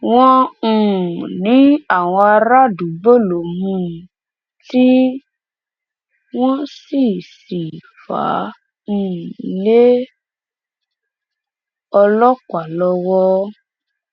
wọn um ní àwọn àràádúgbò ló mú un tí wọn sì sì fà um á lé ọlọpàá lọwọ